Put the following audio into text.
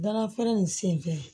Dalafeere nin senfɛ